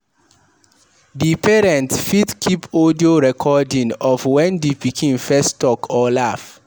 Di parent fit keep audio recording of when di pikin first talk or laugh